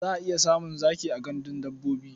Za a iya samun zaki a gandun dabbobi.